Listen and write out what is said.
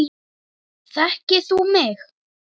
Þekkir þú mig?